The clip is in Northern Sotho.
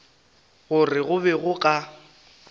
gore go be go ka